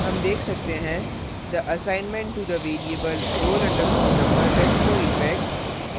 हम देख सकते हैं the assignment to the variable roll _ number has no effect